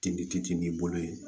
Ten n'i bolo ye